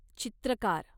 चित्रकार